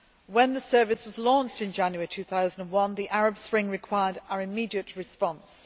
When the Service was launched in January 2011, the Arab spring required our immediate response.